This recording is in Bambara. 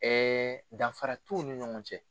danfara t'u ni ɲɔgɔn cɛ.